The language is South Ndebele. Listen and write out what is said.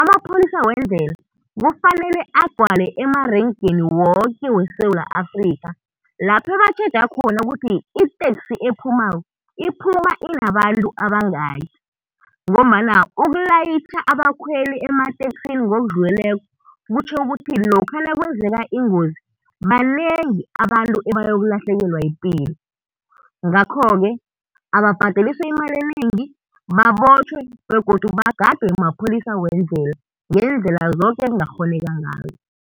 amapholisa wendlela kufanele agcwale emarenkeni woke weSewula Afrikha, lapho ebatjhetja khona ukuthi iteksi ephumako iphuma inabantu abangaki, ngombana ukulayitjha abakhweli emateksini ngokudluleleko kutjho ukuthi lokha nakwenzeka ingozi banengi abantu ebayokulahlekelwa yipilo. Ngakho-ke, ababhadeliswe imali enengi, babotjhwe begodu bagadwe mapholisa wendlela, ngeendlela zoke ekungakghoneka ngazo.